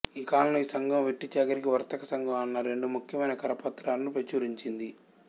ఈ కాలంలో ఈ సంఘం వెట్టిచాకిరి వర్తక సంఘం అన్న రెండు ముఖ్యమైన కరపత్రాలను ప్రచురించింది